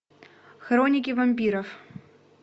хроники вампиров